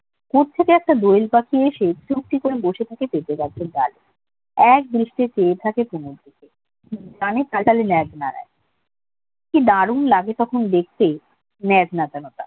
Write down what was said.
কোত্থেকে একটা দোয়েল পাখি এসে চুপটি করে বসে থাকে পেঁপে গাছের ডালে একদৃষ্টে চেয়ে থাকে কুমুর দিকে মানে লেজ নাড়ায় দারুন লাগে তখন দেখতে, লেজ নাড়ানোটা